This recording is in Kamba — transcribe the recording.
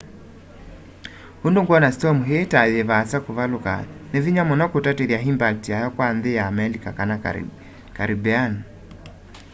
undu ngwona storm ii ta yivaasa kuvaluka ni vinya muno kutatithya impact yayo kwa nthi ya amelika kana caribbean